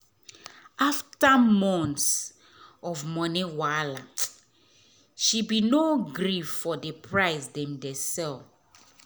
afta months of moni wahala she be nor gree for d price dem dey sell